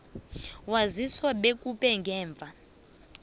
waziswa bekube ngemva